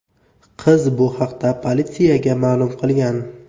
Qiz bu haqda politsiyaga ma’lum qilgan.